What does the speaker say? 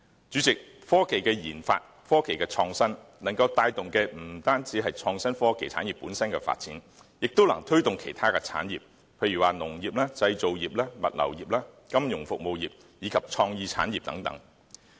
主席，科技的研發和創新能帶動的不止是創新科技產業本身的發展，也能推動其他產業，例如農業、製造業、物流業、金融服務業及創意產業等。